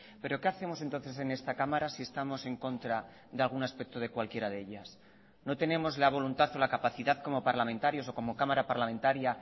pero qué hacemos entonces en esta cámara si estamos en contra de algún aspecto de cualquiera de ellas no tenemos la voluntad o la capacidad como parlamentarios o como cámara parlamentaria